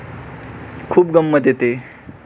खूप गंमत येते.